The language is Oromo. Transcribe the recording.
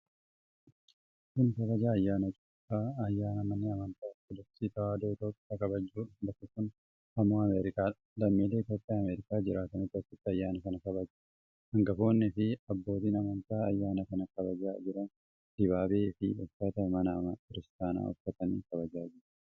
Kun kabaja ayyaana Cuuphaa, ayyaana manni amantaa Ortodoksii Tewaayidoo Itoophiyaa kabajjuudha. Bakki kun ammo Ameerikaadha. Lammiilee Itoophiyaa Ameerikaa jiraatantu achitti ayyaana kana kabaja. Hangafoonni fi abbootin amantii ayyaana kana kabajaa jiran dibaabee fi uffata mana kiristaanaa uffaatanii kabajaa jiru.